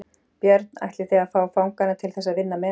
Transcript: Björn: Ætlið þið að fá fanganna til þess að vinna með?